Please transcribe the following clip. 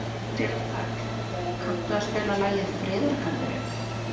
Sigurkarl, kanntu að spila lagið „Friðargarðurinn“?